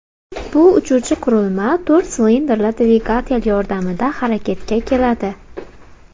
Bu uchuvchi qurilma to‘rt silindrli dvigatel yordamida harakatga keladi.